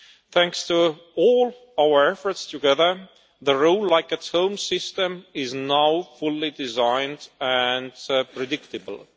Thanks to all our efforts together, the roam like at home' system is now fully designed and predictable.